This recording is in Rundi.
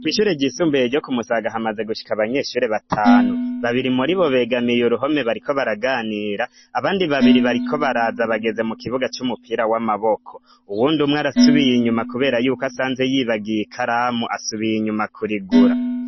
Kwishurejisumbuye ryo kumusagahamaze gushika abanyeshuri batanu babiri muri bo begamiye uruhome bariko baraganira abandi babiri bariko baraza bageze mu kibuga c'umupira w'amaboko uwundi umwe arasubiye inyuma, kubera yuko asanze yibagiye i karamu asubiye inyuma kurigura.